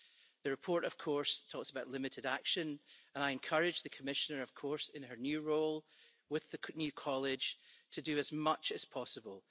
The report, of course, talks about limited action and I encourage the Commissioner, of course, in her new role, with the new College, to do as much as possible.